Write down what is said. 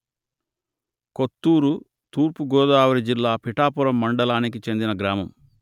కొత్తూరు తూర్పు గోదావరి జిల్లా పిఠాపురం మండలానికి చెందిన గ్రామము